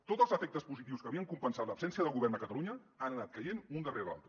tots els efectes positius que havien compensat l’absència de govern a catalunya han anat caient un darrere l’altre